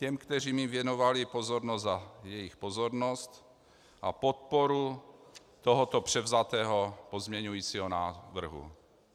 Těm, kteří mi věnovali pozornost, za jejich pozornost a podporu tohoto převzatého pozměňujícího návrhu.